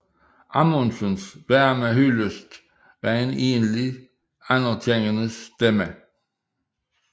Amundsens varme hyldest var en enlig anerkendende stemme